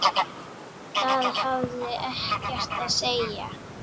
Það hafði ekkert að segja.